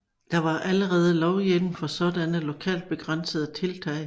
Der var allerede lovhjemmel til sådanne lokalt begrænsede tiltag